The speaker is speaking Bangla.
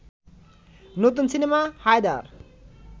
নতুন সিনেমা হায়দার